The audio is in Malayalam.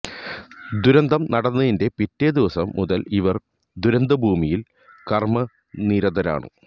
ദുരന്തം നടന്നതിന്റെ പിറ്റേ ദിവസം മുതൽ ഇവർ ദുരന്ത ഭൂമിയിൽ കർമനിരതരാണ്